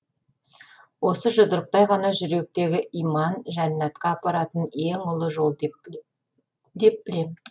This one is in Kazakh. осы жұдырықтай ғана жүректегі иман жәннатқа апаратын ең ұлы жол деп білем